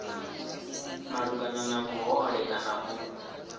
malugana na vhuhole kana u